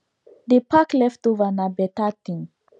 dey pack leftover nah better thing